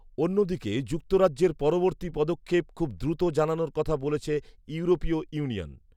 অন্যদিকে যুক্তরাজ্যের পরবর্তী পদক্ষেপ খুব দ্রুত জানানোর কথা বলেছে ইউরেোপীয় ইউনিয়ন